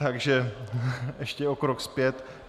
Takže ještě o krok zpět.